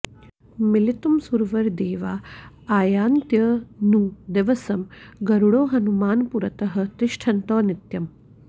मिलितुम् सुरवरदेवा आयान्त्यनुदिवसम् गरुडो हनुमान् पुरतः तिष्ठन्तौ नित्यम्